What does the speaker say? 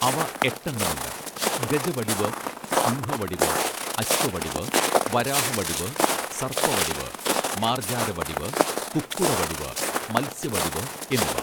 അവ എട്ടെണ്ണമുണ്ട് ഗജവടിവ് സിംഹവടിവ് അശ്വവടിവ് വരാഹവടിവ് സർപ്പവടിവ് മാർജാരവടിവ് കുക്കുടവടിവ് മത്സ്യവടിവ് എന്നിവ